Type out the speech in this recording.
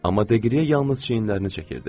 Amma Deqriye yalnız çiyinlərini çəkirdi.